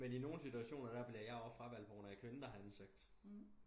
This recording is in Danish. Men i nogen situationer der bliver jeg og fravalgt på grund af en kvinde der har ansøgt